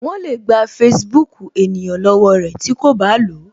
Wọn le gba Facebook ènìyàn lọwọ rẹ tí ko ba lo